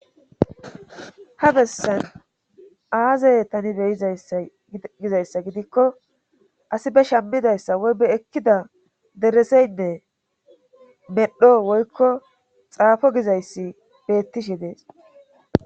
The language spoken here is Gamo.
Ha bessan aazay tani beyizgizayssa gidikko asi be shammidayssa woy be ekkida dereseynne medho woykko xaafo gizayssi beettishe dees.